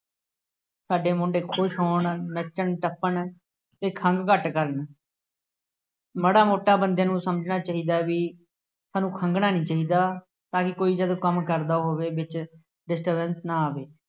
ਸਾਡੇ ਮੁੰਡੇ ਖੁਸ਼ ਹੋਣ, ਨੱਚਣ, ਟੱਪਣ ਅਤੇ ਖੰਘ ਘੱਟ ਕਰਨ, ਮਾੜ੍ਹਾ ਮੋਟਾ ਬੰਦੇ ਨੂੰ ਸਮਝਣਾ ਚਾਹੀਦਾ ਬਈ ਸਾਨੂੰ ਖੰਘਣਾ ਨਹੀਂ ਚਾਹੀਦਾ। ਤਾਂ ਕਿ ਕੋਈ ਜਦੋਂ ਕੰਮ ਕਰਦਾ ਹੋਵੇ, ਵਿੱਚ disturbance ਨਾ ਆਵੇ।